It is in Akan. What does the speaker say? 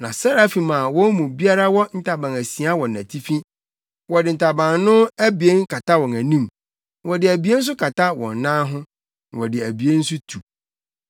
Na Serafim a wɔn mu biara wɔ ntaban asia wɔ nʼatifi. Wɔde ntaban no abien kata wɔn anim, na wɔde abien nso kata wɔn nan ho na wɔde abien nso tu.